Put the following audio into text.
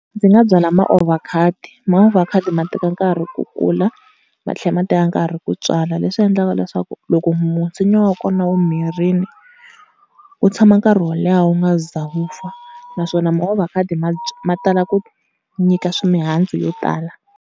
Ndzi nga byala maovhakhado, maovhakhado ma teka nkarhi ku kula matlhela ma teka nkarhi ku tswala, leswi endlaka leswaku loko nsinya wa kona wu mirini u tshama nkarhi wo leha wu nga za wu pfa. Naswona maovhakhado ma tala ku nyika mihandzu yo tala.